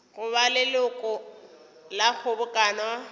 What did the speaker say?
go ba leloko la kgobokano